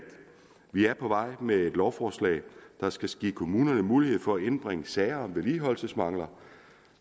vi er på vej med et lovforslag der skal give kommunerne mulighed for at indbringe sager om vedligeholdelsesmangler